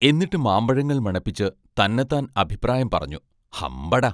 എന്നിട്ട് മാമ്പഴങ്ങൾ മണപ്പിച്ച് തന്നത്താൻ അഭിപ്രായം പറഞ്ഞു: ഹമ്പട!